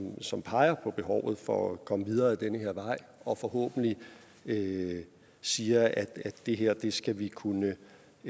som peger på behovet for at komme videre ad den her vej og forhåbentlig siger at det her skal vi kunne